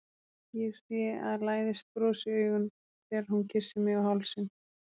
Ég sé að læðist bros í augun þegar hún kyssir mig á hálsinn.